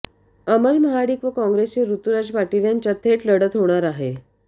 अमल महाडिक व काँग्रेसचे ऋतुराज पाटील यांच्यात थेट लढत होणार आहे